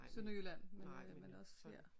Sønderjylland men også her